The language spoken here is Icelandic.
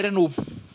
er nú